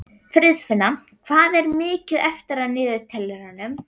Friðfinna, hvað er mikið eftir af niðurteljaranum?